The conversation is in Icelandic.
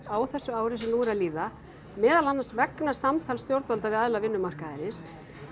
á þessu ári sem nú er að líða meðal annars vegna samtals stjórnvalda við aðila vinnumarkaðarins